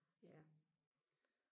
ja